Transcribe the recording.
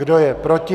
Kdo je proti?